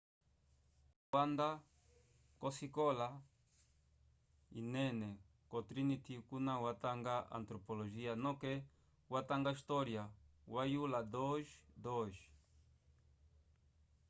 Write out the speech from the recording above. charle wanda kosikola yinene ko trinity kuna watanga antropologia noke watanga história wa yula 2:2